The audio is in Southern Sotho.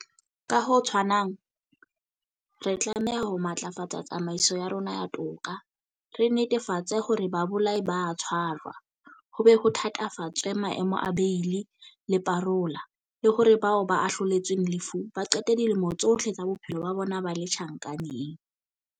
Ka ho tshwanang, re tlameha ho matlafatsa tsamaiso ya rona ya toka, re netefatse hore babolai ba a tshwarwa, ho be ho thatafatswe maemo a beili le parola, le hore bao ba ahloletsweng lefu ba qete dilemo tsohle tsa bophelo ba bona ba le tjhankaneng.